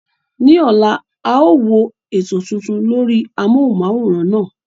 Ní ọ̀la, a ó wo ètò tuntun lórí amóhùnm'áwòrán náà